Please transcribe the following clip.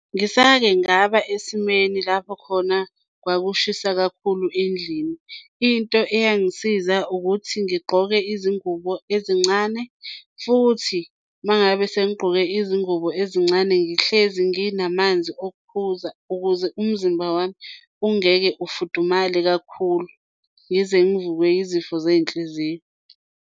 Ngisake ngaba esimeni lapho khona kwakushisa kakhulu endlini. Into eyangisiza ukuthi ngigqoke izingubo ezincane futhi uma ngabe sengigqoke izingubo ezincane ngihlezi nginamanzi okuphuza ukuze umzimba wami ungeke ufudumale kakhulu, ngize ngivukwe izifo zey'nhliziyo.